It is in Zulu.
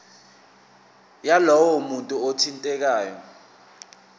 yalowo muntu othintekayo